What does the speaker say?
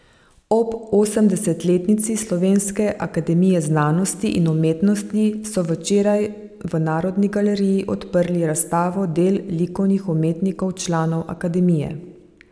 Ob osemdesetletnici Slovenske akademije znanosti in umetnosti so včeraj v Narodni galeriji odprli razstavo del likovnih umetnikov članov Akademije.